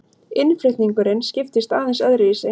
Innflutningurinn skiptist aðeins öðruvísi.